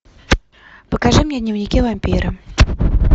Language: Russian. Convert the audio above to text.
покажи мне дневники вампира